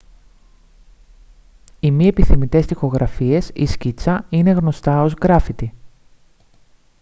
οι μη επιθυμητές τοιχογραφίες ή σκίτσα είναι γνωστά ως γκράφιτι